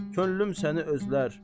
Könlüm səni özlər.